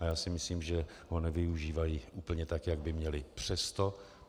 A já si myslím, že ho nevyužívají úplně tak, jak by měly.